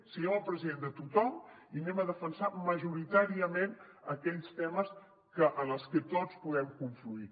siguem el president de tothom i anem a defensar majoritàriament aquells temes en els que tots podem confluir